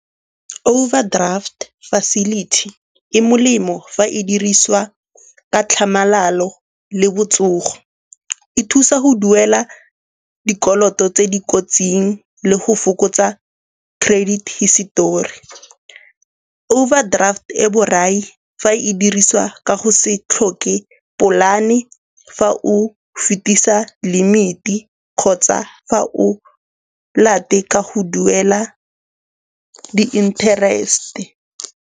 Overdraft facility e molemo fa e dirisiwa ka tlhamalalo le botsogo. E thusa go duela dikoloto tse di kotsing le go fokotsa credit histori. Overdraft e borai fa e dirisiwa ka go se tlhoke polane fa o fetisa limit-e kgotsa fa o late ka go duela di-interest-e.